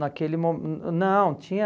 Naquele mo, hum... Não, tinha...